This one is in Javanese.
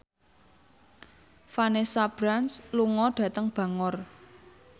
Vanessa Branch lunga dhateng Bangor